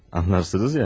Anlarsınız ya?